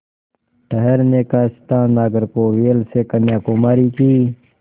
ठहरने का स्थान नागरकोविल से कन्याकुमारी की